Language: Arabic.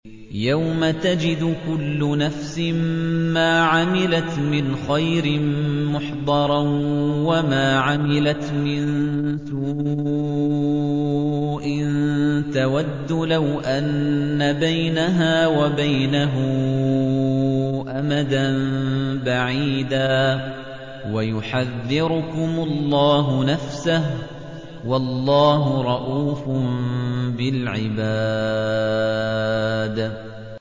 يَوْمَ تَجِدُ كُلُّ نَفْسٍ مَّا عَمِلَتْ مِنْ خَيْرٍ مُّحْضَرًا وَمَا عَمِلَتْ مِن سُوءٍ تَوَدُّ لَوْ أَنَّ بَيْنَهَا وَبَيْنَهُ أَمَدًا بَعِيدًا ۗ وَيُحَذِّرُكُمُ اللَّهُ نَفْسَهُ ۗ وَاللَّهُ رَءُوفٌ بِالْعِبَادِ